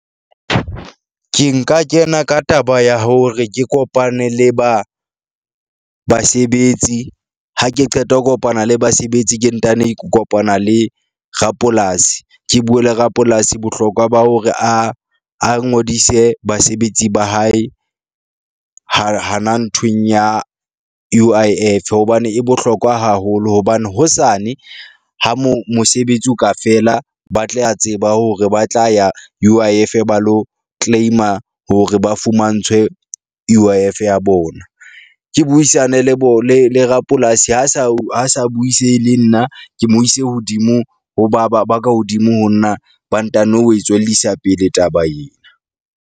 Ke nka kena ka taba ya hore ke kopane le ba basebetsi ha ke qeta ho kopana le basebetsi, ke ntano kopana le rapolasi. Ke bue le rapolasi bohlokwa ba hore a a ngodise basebetsi ba hae ha hana nthweng ya U_I_F hobane e bohlokwa haholo. Hobane hosane ha mo mosebetsi o ka fela ba tle a tseba hore ba tla ya U_I_F ba lo claim-a hore ba fumantshwe U_I_F ya bona. Ke buisane le bo le le rapolasi ha sa ha sa buisehe le nna ke mo ise hodimo, ho ba ba ba ka hodimo ho nna ba ntano ho tswellisa pele taba yena.